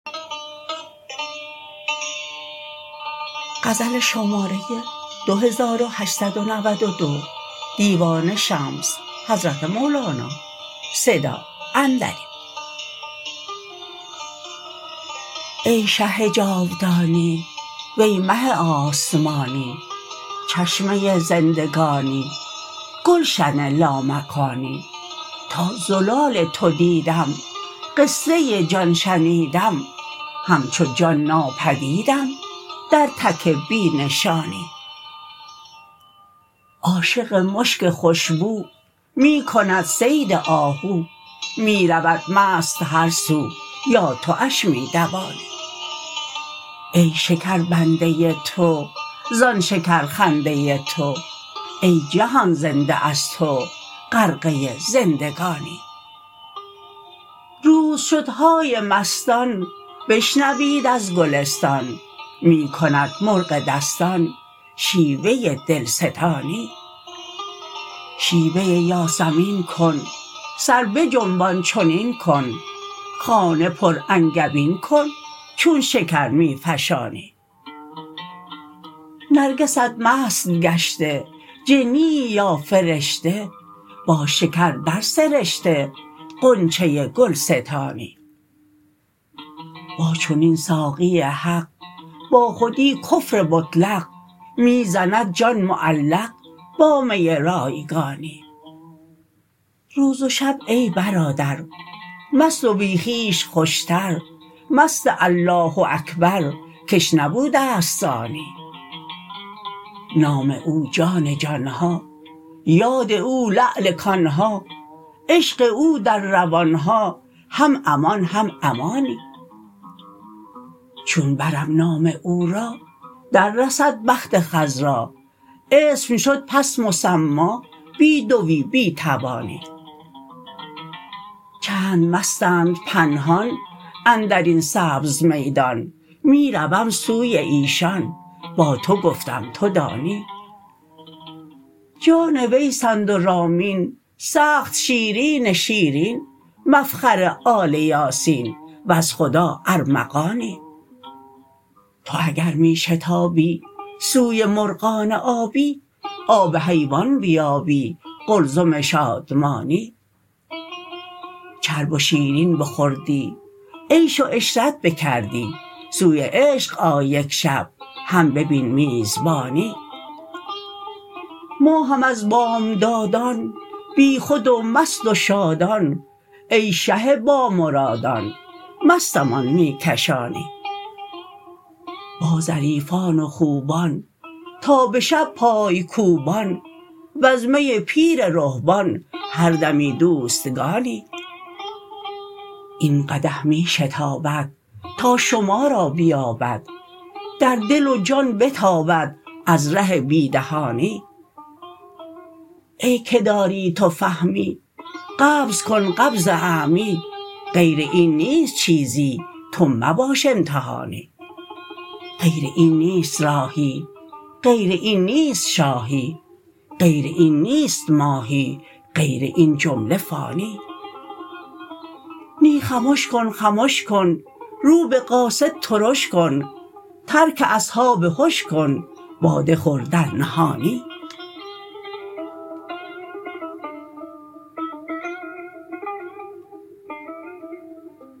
ای شه جاودانی وی مه آسمانی چشمه زندگانی گلشن لامکانی تا زلال تو دیدم قصه جان شنیدم همچو جان ناپدیدم در تک بی نشانی عاشق مشک خوش بو می کند صید آهو می رود مست هر سو یا تواش می دوانی ای شکر بنده تو زان شکرخنده تو ای جهان زنده از تو غرقه زندگانی روز شد های مستان بشنوید از گلستان می کند مرغ دستان شیوه دلستانی شیوه یاسمین کن سر بجنبان چنین کن خانه پرانگبین کن چون شکر می فشانی نرگست مست گشته جنیی یا فرشته با شکر درسرشته غنچه گلستانی با چنین ساقی حق با خودی کفر مطلق می زند جان معلق با می رایگانی روز و شب ای برادر مست و بی خویش خوشتر مست الله اکبر کش نبوده است ثانی نام او جان جان ها یاد او لعل کان ها عشق او در روان ها هم امان هم امانی چون برم نام او را دررسد بخت خضرا اسم شد پس مسما بی دوی بی توانی چند مستند پنهان اندر این سبز میدان می روم سوی ایشان با تو گفتم تو دانی جان ویسند و رامین سخت شیرین شیرین مفخر آل یاسین وز خدا ارمغانی تو اگر می شتابی سوی مرغان آبی آب حیوان بیابی قلزم شادمانی چرب و شیرین بخوردی عیش و عشرت بکردی سوی عشق آی یک شب هم ببین میزبانی ما هم از بامدادان بیخود و مست و شادان ای شه بامرادان مستمان می کشانی با ظریفان و خوبان تا به شب پای کوبان وز می پیر رهبان هر دمی دوستگانی این قدح می شتابد تا شما را بیابد در دل و جان بتابد از ره بی دهانی ای که داری تو فهمی قبض کن قبض اعمی غیر این نیست چیزی تو مباش امتحانی غیر این نیست راهی غیر این نیست شاهی غیر این نیست ماهی غیر این جمله فانی نی خمش کن خمش کن رو به قاصد ترش کن ترک اصحاب هش کن باده خور در نهانی